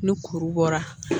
Ni kuru bɔra